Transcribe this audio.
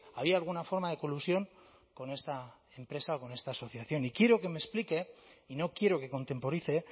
había alguna forma de colusión con esta empresa o con esta asociación y quiero que me explique y no quiero que contemporice